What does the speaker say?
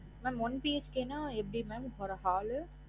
One BHK ன்னா எப்டி mam ஒரு hall